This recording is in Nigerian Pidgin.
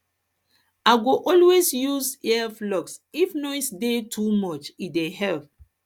i go always always use earplugs if noise dey too much e dey help